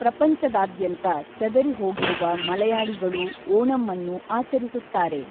ಪ್ರಪಂಚದಾದ್ಯಂತ ಚದರಿಹೋಗಿರುವ ಮಲಯಾಳಿಗಳೂ ಓಣಂಅನ್ನು ಆಚರಿಸುತ್ತಾರೆ.